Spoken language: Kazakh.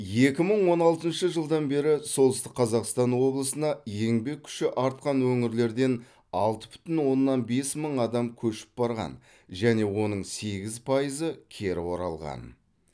екі мың он алтыншы жылдан бері солтүстік қазақстан облысына еңбек күші артқан өңірлерден алты бүтін оннан бес мың адам көшіп барған және оның сегіз пайызы кері оралған